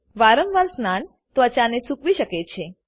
વારંવાર સ્નાન ત્વચા ને સૂકવી શકે છે